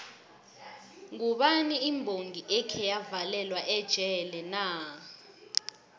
ngubani imbongi ekheya valelwa ejele na